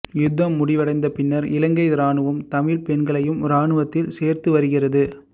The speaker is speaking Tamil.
யுத்தம் முடிவடைந்த பின்னர் இலங்கை இராணுவம் தமிழ்ப் பெண்களையும் இராணுவத்தில் சேர்த்துவருகிறது